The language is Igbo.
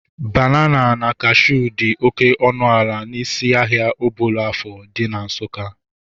Banana na cashuu dị oké ọnụ ala n'isi ahịa Obollo-Afor dị na Nsukka